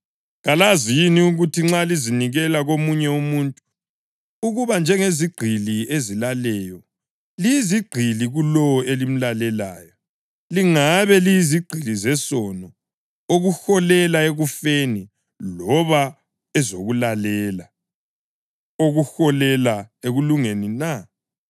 Kalazi yini ukuthi nxa lizinikela komunye umuntu ukuba njengezigqili ezilaleyo, liyizigqili kulowo elimlalelayo, langabe liyizigqili zesono, okuholela ekufeni, loba ezokulalela, okuholela ekulungeni na?